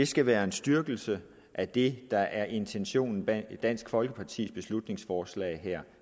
skal være en styrkelse af det der er intentionen bag dansk folkepartis beslutningsforslag her